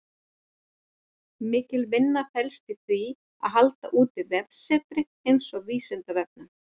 Mikil vinna felst í því að halda úti vefsetri eins og Vísindavefnum.